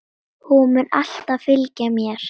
Hún mun alltaf fylgja mér.